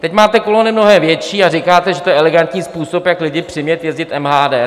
Teď máte kolony mnohem větší a říkáte, že to je elegantní způsob, jak lidi přimět jezdit MHD.